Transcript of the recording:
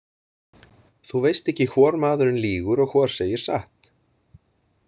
Þú veist ekki hvor maðurinn lýgur og hvor segir satt.